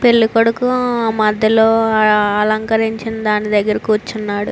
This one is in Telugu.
పెళ్లి కొడుకు మధ్యలో అలంకరించిన దాని దగ్గర కూర్చున్నాడు.